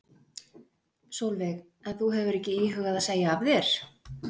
Sólveig: En þú hefur ekki íhugað að segja af þér?